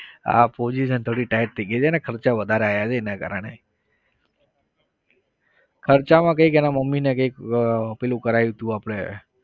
હા position થોડી tight થઇ ગઈ છે. એને ખર્ચા વધારે આવ્યા છે એના કારણે. ખર્ચામાં કઈંક એના મમ્મીને કઈંક આહ પેલું કરાવ્યું હતું આપણે